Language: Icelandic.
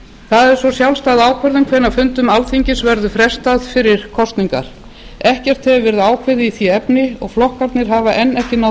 það er svo sjálfstæð ákvörðun hvenær fundum alþingis verður frestað fyrir kosningar ekkert hefur verið ákveðið í því efni og flokkarnir hafa enn ekki náð